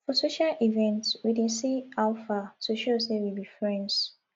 for social events we dey say how far to show sey we be friends